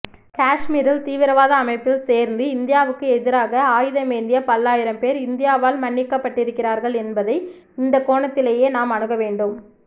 காஷ்மீரில் தீவிரவாத அமைப்பில் சேர்ந்து இந்தியாவுக்கு எதிராக ஆயுதமேந்திய பல்லாயிரம் பேர் இந்தியாவால் மன்னிக்கப்பட்டிருக்கிறார்கள் என்பதை இந்தக்கோணத்திலேயே நாம் அணுகவேண்டும்